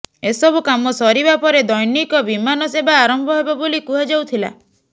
ଏସବୁ କାମ ସରିବା ପରେ ଦ୘ନିକ ବିମାନ ସେବା ଆରମ୍ଭ ହେବ ବୋଲି କୁହାଯାଉଥିଲା